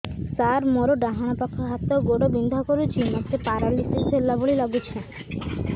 ସାର ମୋର ଡାହାଣ ପାଖ ହାତ ଗୋଡ଼ ବିନ୍ଧା କରୁଛି ମୋତେ ପେରାଲିଶିଶ ହେଲା ଭଳି ଲାଗୁଛି